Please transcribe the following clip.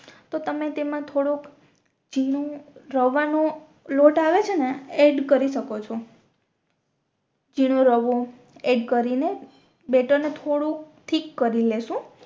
તો તમે તેમાં થોડોક ઝીણું રવા નો લોટ આવે છે ને એડ કરી શકો છો ઝીણું રવો એડ કરીને બેટર ને થોડુક થિક કરી લેશુ